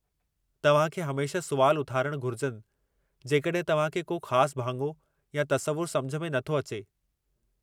तव्हां खे हमेशह सुवाल उथारणु घुरिजनि जेकॾहिं तव्हां खे को ख़ासि भाङो या तसवुरु समुझ में नथो अचे।